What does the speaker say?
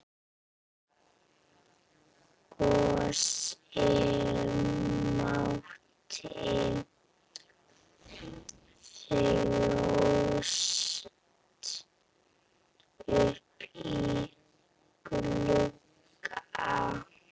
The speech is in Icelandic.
Gosi mátti þjást uppí glugga.